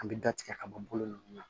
An bɛ da tigɛ ka bɔlɔlɔ ninnu na